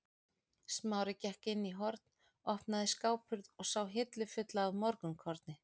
Smári gekk inn í horn, opnaði skáphurð og sá hillu fulla af morgunkorni.